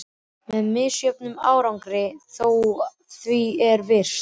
Með misjöfnum árangri þó, að því er virtist.